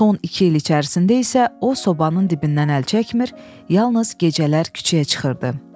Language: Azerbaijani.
Son iki il içərisində isə o sobanın dibindən əl çəkmir, yalnız gecələr küçəyə çıxırdı.